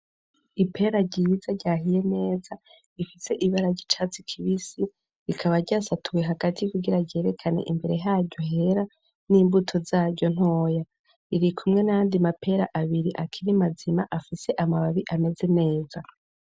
Ipera ryiza ryahiye neza rifise ibara ry'icatsi kibisi. Rikaba ryasatuwe hagati kugira ryerekane imbere haryo hera n'imbuto zaryo ntoya. Riri kumwe n'ayandi mapera abiri akiri mazima afise amababi ameze neza.